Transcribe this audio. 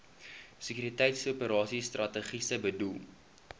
sekuriteitsoperasies strategiese doel